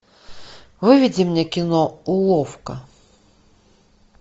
выведи мне кино уловка